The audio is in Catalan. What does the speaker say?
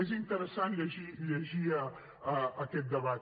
és interessant llegir aquest debat